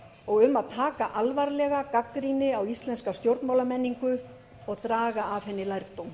og um að taka alvarlega gagnrýni á íslenska stjórnmálamenningu og draga af henni lærdóm